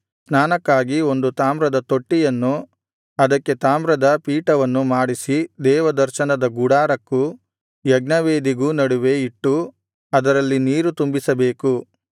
ಸ್ನಾನಕ್ಕಾಗಿ ಒಂದು ತಾಮ್ರದ ತೊಟ್ಟಿಯನ್ನೂ ಅದಕ್ಕೆ ತಾಮ್ರದ ಪೀಠವನ್ನೂ ಮಾಡಿಸಿ ದೇವದರ್ಶನದ ಗುಡಾರಕ್ಕೂ ಯಜ್ಞವೇದಿಗೂ ನಡುವೆ ಇಟ್ಟು ಅದರಲ್ಲಿ ನೀರು ತುಂಬಿಸಬೇಕು